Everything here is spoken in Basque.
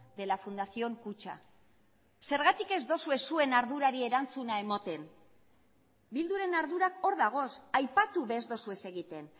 de la fundación kutxa zergatik ez duzue zuen ardurari erantzuna ematen bilduren ardurak hor dagoz aipatu ez duzue egiten